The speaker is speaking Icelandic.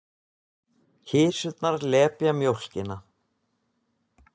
Kisurnar lepja mjólkina.